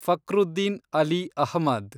Fakhruddin Ali Ahmed